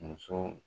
Muso